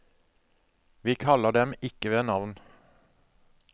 Vi kaller dem ikke ved navn.